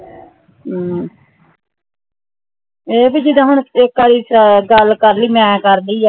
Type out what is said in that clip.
ਹਮ ਇਹ ਭੀ ਜਿਦਾ ਹੁਣ ਇਕ ਬਾਰੀ ਗੱਲ ਕਰਲੀ ਹਾ ਮੈਂ ਕਰਲੀ ਹਾ